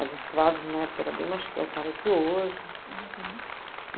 As estradas na época eram bem mais precárias que hoje. Uhum